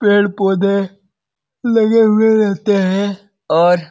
पेड़-पौधे लगे हुए रहते हैं और --